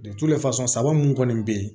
saba munnu kɔni be yen